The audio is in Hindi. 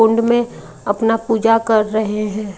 कुंड में अपना पूजा कर रहे हैं।